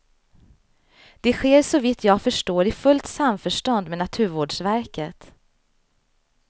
Det sker såvitt jag förstår i fullt samförstånd med naturvårdsverket.